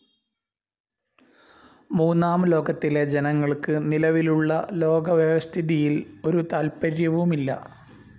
മൂന്നാം ലോകത്തിലെ ജനങ്ങൾക്ക് നിലവിലുള്ള ലോകവ്യവസ്ഥിതിയിൽ ഒരു താല്പര്യവുമില്ല.